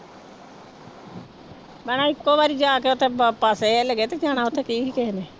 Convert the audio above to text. ਮੈਂ ਨਾ ਇੱਕੋ ਵਾਰੀ ਜਾ ਕੇ ਉੱਥੇ ਤੇ ਜਾਣਾ ਉੱਥੇ ਕੀ ਸੀ ਕਿਸੇ ਨੇ।